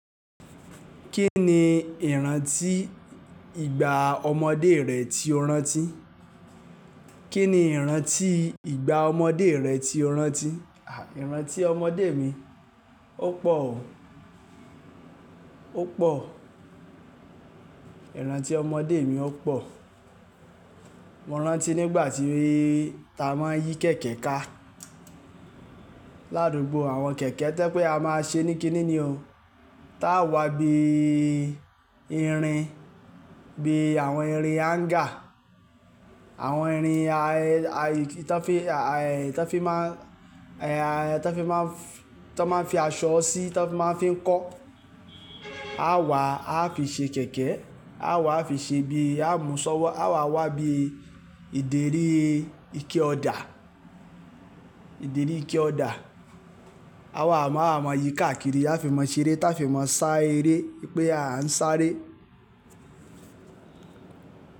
Kí ni ìrántí ìgbà ọmọdé rẹ tí o rántí? Kí ni ìrántí ìgbà ọmọdé rẹ tí o rántí? À, ìrántí ọmọdé mi, ó pọ̀ o, ó pọ̀. Ìrántí ọmọdé mi ó pọ̀. Mo rántí nígbà tí ta a máa ń yí kẹ̀kẹ́ ká. Láàdùgbò àwọn kẹ̀kẹ́ to ye pé a máa ṣe ní kíni ni o. Ta a wá bí i irin, bí i àwọn irin háńgà, àwọn irin tí wọ́n fi, tí wọ́n fi máa ń, a tí wọ́n fi máa ń, tí wọ́n máa ń fi aṣọ sí, tí wọ́n máa ń fi kọ́. A wá, a fi ṣe kẹ̀kẹ́, a wá a fi ṣe bí i, a mú ṣọ́wọ́, a wá wá bí i ìdérí ike ọ̀dà, ìdérí ike ọ̀dà. A wá, a máa yí káàkiri. A fi máa ṣeré, ta fi máa sá eré. Pé à ń sáré.